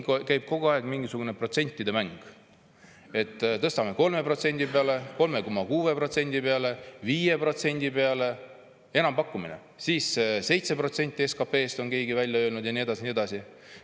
Aga siin käib kogu aeg mingisugune protsentide mäng: tõstame 3% peale, 3,6% peale, 5% peale – enampakkumine –, siis on keegi välja öelnud 7% SKP‑st ja nii edasi.